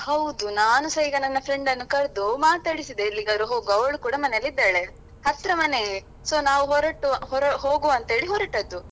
ಹೌದು ನಾನುಸ ಈಗ ನನ್ನ friend ಅನ್ನು ಕರ್ದು ಮಾತಾಡಿಸಿದೆ ಎಲ್ಲಿಗಾದ್ರೂ ಹೋಗುವಾ ಅವ್ಳು ಕೂಡ ಮನೆಯಲ್ಲಿ ಇದ್ದಾಳೆ ಹತ್ರ ಮನೆ so ನಾವು ಹೊರಟು ಹೋಗುವಂತ ಹೇಳಿ ಹೊರಟದ್ದು,